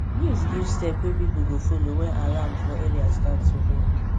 news give step wey people go follow wen alarm for area start to ring